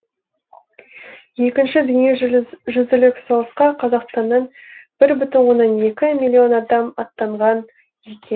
екінші дүние жүзі лік соғысқа қазақстаннан бір бүтін оннан екі миллион адам аттанған екен